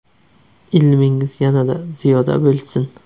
Ilmingiz yanada ziyoda bo‘lsin!